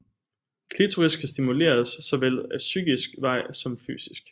Klitoris kan stimuleres såvel ad psykisk vej som fysisk